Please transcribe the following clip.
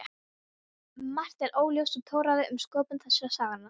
Margt er óljóst og torráðið um sköpun þessara sagna.